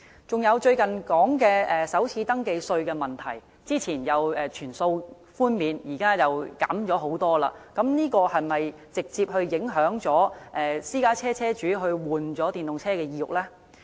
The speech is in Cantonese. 再者，最近提到的首次登記稅的問題，早前說可全數寬免，現在卻是大幅減少，這是否直接影響私家車車主更換電動車的意欲呢？